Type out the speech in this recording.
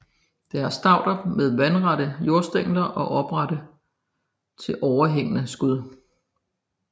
Det er stauder med vandrette jordstængler og oprette til overhængende skud